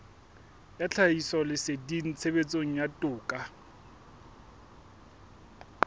ya tlhahisoleseding tshebetsong ya toka